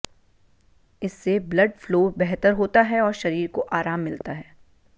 इससे blood flow बेहतर होता है और शरीर को आराम मिलता है